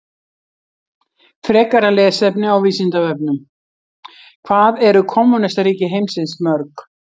Frekara lesefni á Vísindavefnum: Hvað eru kommúnistaríki heimsins mörg?